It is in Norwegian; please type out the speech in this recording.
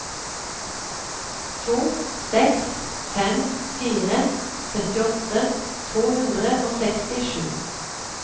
to seks fem fire syttiåtte to hundre og sekstisju